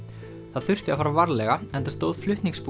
það þurfti að fara varlega enda stóð